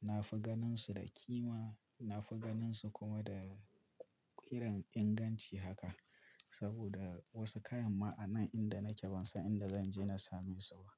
na fi ganin su da kima, na fi ganin su kuma da irin inganci haka. Saboda wasu kayan ma a nan inda nake ban san ma inda zan je na same su ba.